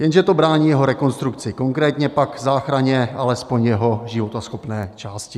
Jenže to brání jeho rekonstrukci, konkrétně pak záchraně alespoň jeho životaschopné části.